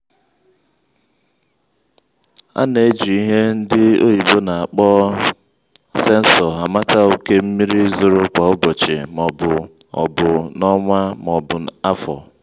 ana-eji ihe ndị oyibo n'akpọ sensọ amata oke mmiri zoro kwa ụbọchị ma ọbu ọbu n'ọnwa ma ọbu afọ.